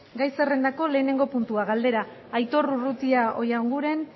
gai zerrendako lehenengo puntua galdera aitor urrutia oianguren